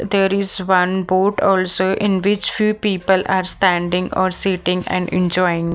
there is one boat also in which few people are standing or sitting and enjoying.